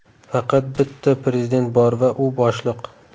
Faqat bitta prezident bor va u boshliq.